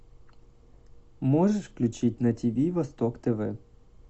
можешь включить на тв восток тв